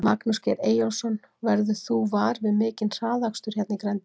Magnús Geir Eyjólfsson: Verður þú var við mikinn hraðakstur hérna í grenndinni?